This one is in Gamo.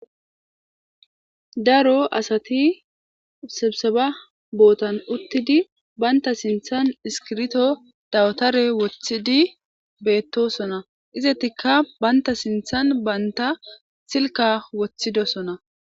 Daro asati sebisaba bootan uttidi baynta sinthan iskirto dawtare woththidi beettosona. Izatikka baynta sinthan baynta silka woththidosona.